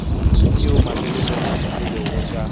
tšeo mafelelong e lego tša